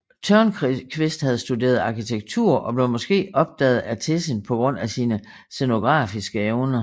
Törnqvist havde studeret arkitektur og blev måske opdaget af Tessin på grund af sine scenografiske evner